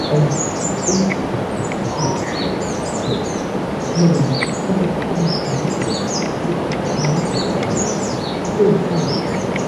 ꯑꯩ ꯑꯩꯒꯤ ꯏꯆꯥꯅꯨꯄꯥ ꯐꯥꯖꯤꯟꯅꯕ ꯇꯧꯕꯗ ꯊꯋꯥꯏ ꯋꯥꯏ ꯃꯔꯝꯗꯤ ꯃꯍꯥꯛ ꯍꯤꯗꯥꯛ ꯀꯥꯞꯄ ꯀꯤꯔꯝꯃꯤ ꯑꯗꯨꯒ ꯃꯍꯥꯛꯀꯤ ꯄꯥꯝꯕꯣꯝ ꯑꯗꯨ ꯀꯣꯏꯍꯥꯏ ꯍꯥꯏꯔꯝꯃꯤ꯫